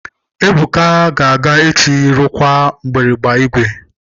Ebuka ga-aga echi rụkwaa mgbịrịgba igwe.